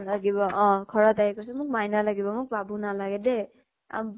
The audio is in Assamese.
লাগিব । অʼ। ঘৰত আহি কৈছে মোক মাইনা লাগিব, মোক বাবু নালাগে দেই । আব